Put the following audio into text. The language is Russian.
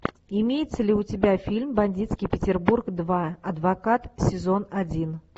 имеется ли у тебя фильм бандитский петербург два адвокат сезон один